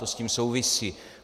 To s tím souvisí.